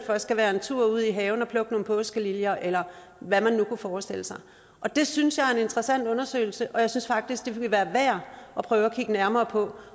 skal være en tur ud i haven for at plukke nogle påskeliljer eller hvad man nu kunne forestille sig det synes jeg er en interessant undersøgelse og jeg synes faktisk det ville være værd at prøve at kigge nærmere på